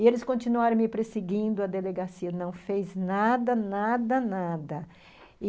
E eles continuaram me perseguindo, a delegacia não fez nada, nada, nada.